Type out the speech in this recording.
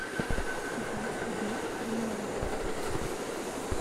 закажи обед в номер